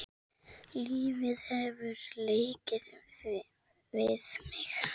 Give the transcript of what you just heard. Lífið hefur leikið við mig.